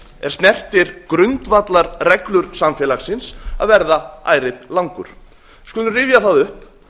er snertir grundvallarreglur samfélagsins að verða ærið langur við skulum rifja það upp